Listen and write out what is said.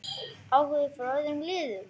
Áhugi frá öðrum liðum?